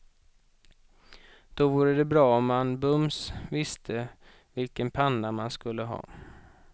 Då vore det bra om man bums visste vilken panna man skulle ha.